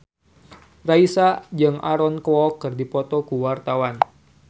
Raisa jeung Aaron Kwok keur dipoto ku wartawan